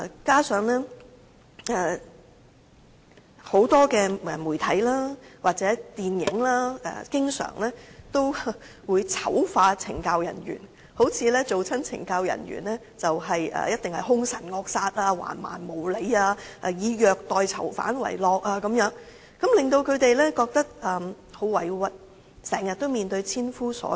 加上很多媒體或電影經常醜化懲教人員，好像凡是當懲教人員的人，便必定兇神惡煞、橫蠻無理、以虐待囚犯為樂，令她們感到很委屈，經常面對千夫所指。